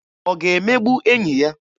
Ọ ga-emegbu enyi ya?